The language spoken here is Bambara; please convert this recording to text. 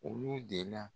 Olu de la